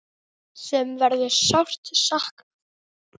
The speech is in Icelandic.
Sem verður sárt saknað.